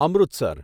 Amritsar